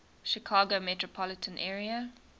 chicago metropolitan area